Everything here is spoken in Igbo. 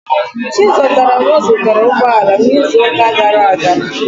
Chizọtaram zụtara ụgbọ ala n'izu ụka gara aga.